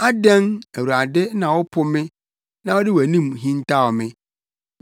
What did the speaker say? Adɛn, Awurade, na wopo me na wode wʼanim hintaw me?